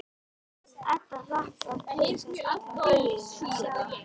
Edda hlakkar til þess allan daginn að sjá hann.